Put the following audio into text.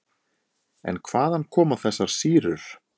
En hvaðan koma þessar sýrur?